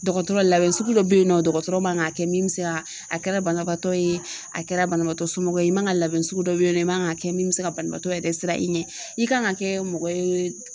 Dɔgɔtɔrɔ labɛn sugu dɔ be yen nɔ dɔgɔtɔrɔ man k'a kɛ min bi se ka a kɛra banabaatɔ ye a kɛra banabaatɔ somɔgɔ ye i man ka labɛn sugu dɔ be yen nɔ i man k'a kɛ min bi se ka banabaatɔ yɛrɛ siran i ɲɛ. I ka kan ka kɛ mɔgɔ ye